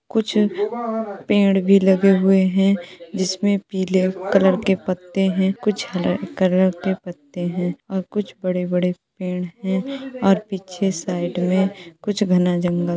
कुछ पेड़ भी लगे हुऐ हैं जिसमें पीले कलर के पत्ते हैं कुछ हरे कलर के पत्ते हैं और कुछ बड़े-बड़े पेड़ हैं और पीछे साइड में कुछ घना जंगल --